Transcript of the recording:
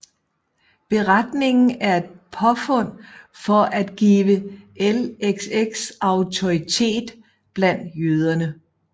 Beretningen er et påfund for at give LXX autoritet blandt jøder